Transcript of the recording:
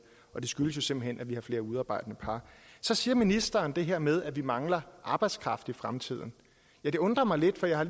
og det skyldes simpelt hen at vi har flere udearbejdende par så siger ministeren det her med at vi mangler arbejdskraft i fremtiden det undrer mig lidt for vi har